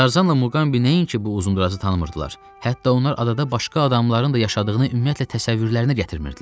Tarzanla Muqambi nəinki bu uzunboğazı tanımırdılar, hətta onlar adada başqa adamların da yaşadığını ümumiyyətlə təsəvvürlərinə gətirmirdilər.